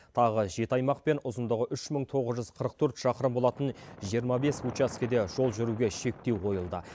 тағы жеті аймақ пен ұзындығы үш мың тоғыз жүз қырық төрт шақырым болатын жиырма бес учаскеде жол жүруге шектеу қойылды